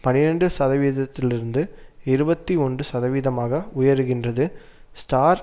பனிரண்டு சதவீதத்திலிருந்து இருபத்தி ஒன்று சதவீதமாக உயருகின்றது ஸ்டார்